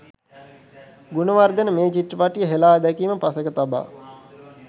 ගුණවර්ධන මේ චිත්‍රපටිය හෙළා දැකීම පසෙක තබා